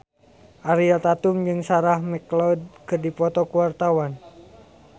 Ariel Tatum jeung Sarah McLeod keur dipoto ku wartawan